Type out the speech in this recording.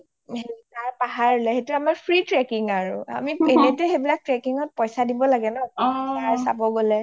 তাৰ পাহাৰ বুলে, সেইটো আৰু free trekking আৰু এনেটো সেইবিলাক trekking ত পইছা দিব লাগে ন অ চাব গলে